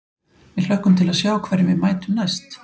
Við hlökkum til að sjá hverjum við mætum næst.